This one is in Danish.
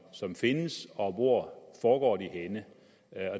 som findes og hvor foregår de henne